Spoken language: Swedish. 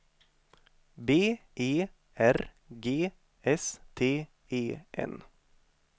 B E R G S T E N